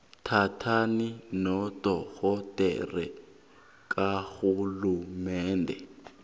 thintana nodorhodere karhulumende